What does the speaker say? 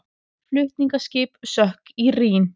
Flutningaskip sökk í Rín